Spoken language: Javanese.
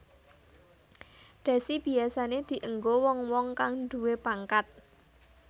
Dhasi biyasané dienggo wong wong kang nduwé pangkat